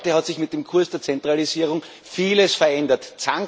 Heute hat sich mit dem Kurs der Zentralisierung vieles verändert.